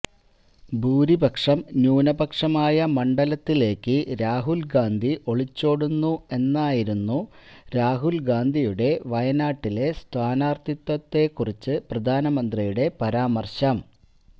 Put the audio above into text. ഭൂരിപക്ഷം ന്യൂനപക്ഷമായ മണ്ഡലത്തിലേക്ക് രാഹുൽ ഗാന്ധി ഒളിച്ചോടുന്നു എന്നായിരുന്നു രാഹുൽ ഗാന്ധിയുടെ വയനാട്ടിലെ സ്ഥാനാർത്ഥിത്വത്തെ കുറിച്ച് പ്രധാനമന്ത്രിയുടെ പരാമർശം